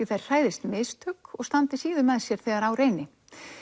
þær hræðist mistök og standi síður með sér þegar á reyni